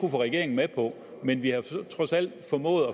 regeringen med på men vi har trods alt formået